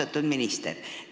Austatud minister!